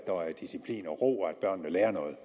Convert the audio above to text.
disciplin og ro og at børnene lærer noget